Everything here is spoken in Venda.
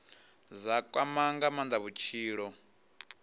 dza kwama nga maanda vhutshilo